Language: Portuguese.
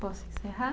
Posso encerrar?